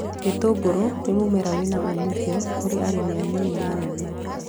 Gĩtũngũrũ nĩ mũmera wĩna umithio kũrĩ arĩmi anini na anene